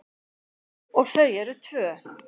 Og þau eru tvö.